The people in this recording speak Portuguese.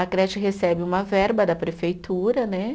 A creche recebe uma verba da prefeitura, né?